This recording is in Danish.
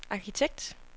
arkitekt